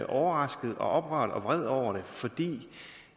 overrasket og oprørt og vred over det fordi